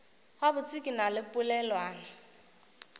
gabotse ke na le polelwana